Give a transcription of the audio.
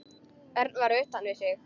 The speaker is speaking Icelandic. Örn var utan við sig.